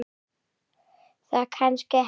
Það kannski hefst.